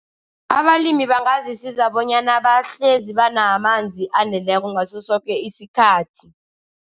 Abalimi bangazisiza bonyana bahlezi banamanzi aneleko ngasosoke isikhathi.